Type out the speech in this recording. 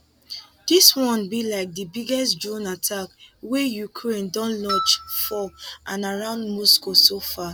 dis one be like di biggest drone attack wey ukraine don launch for and around moscow so far